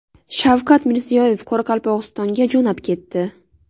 Shavkat Mirziyoyev Qoraqalpog‘istonga jo‘nab ketdi.